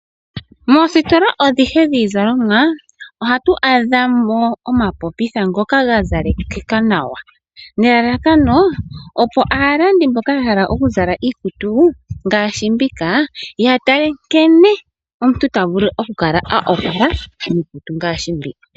Moositola adhihe dhii zalomwa ohatu adhamo oma popitha ngoka gazalekeka nawa nelalakano opo aalandi mboka yahala okuzala iikutu ngaashi mbika yatale nkene omuntu ta vulu oku kala a opala miikutu ngaashi mbi.